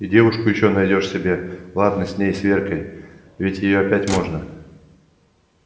и девушку ещё найдёшь себе ладно с ней с веркой ведь и её опять можно